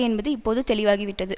என்பது இப்போது தெளிவாகிவிட்டது